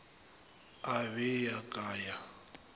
e be ya ka ya